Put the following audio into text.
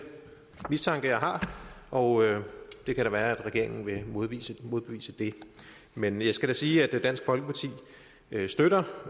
mistanke jeg har og det kan da være at regeringen vil modbevise modbevise det men jeg skal da sige at dansk folkeparti støtter